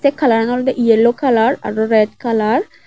ay colour an olode yellow colour aro red colour